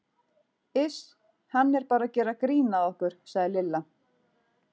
Iss hann er bara að gera grín að okkur sagði Lilla.